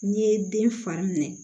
N'i ye den fari minɛ